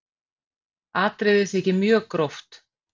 Atriðið þykir mjög gróft